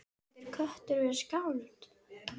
Getur köttur verið skáld?